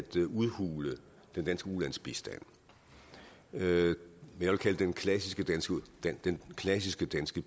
udhule den danske ulandsbistand det jeg vil kalde den klassiske den klassiske danske